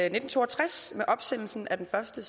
i nitten to og tres med opsendelsen af den første